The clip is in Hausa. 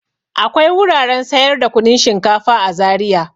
Akwai wuraren sayar da kunun shinkafa a Zariya.